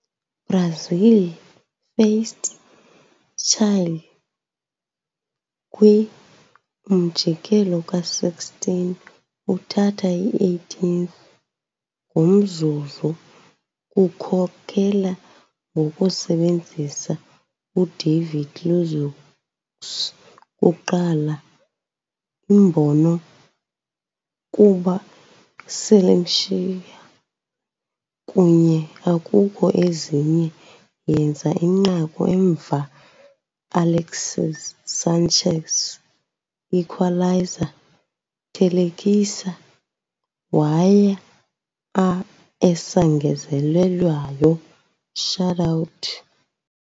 Brazil faced Chile kwi - umjikelo ka-16, uthatha i-18th-ngomzuzu kukhokela ngokusebenzisa Udavide Luiz's kuqala imbono kuba "Seleção". Kunye akukho ezinye yenza inqaku emva Alexis Sánchez's equaliser, thelekisa, waya a esangezelelweyo shoutout.